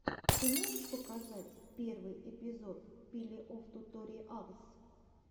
ты можешь показать первый эпизод пилеофтуториалс